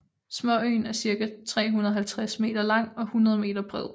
Småøen er cirka 350 meter lang og 100 meter bred